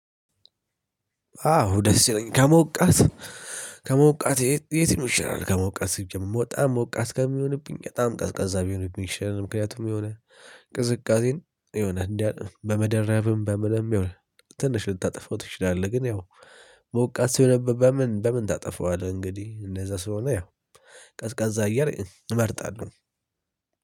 አዎ ደስ ይለኛል። ከሞቃት ከሞቃት የትኛው ይሻላላል ከሞቃት ሲጀመር በጣም ሞቃት ከሚሆንብኝ በጣም ቀዝቃዛ ቢሆንብኝ ይሻላል። ምክንያቱም የሆነ ቅዝቃዜን የሆነ እንዳጠ በመደረብም በምንም የሆነ ትንሽ ልታጠፋው ትችላለህ። ግን ያው ሞቃት ሲሆን በምን በምን ታጠፋዋለህ እንግዲህ እደዛ ስለሆነ ያው ቀዝቃዛ አየር እመርጣለሁ።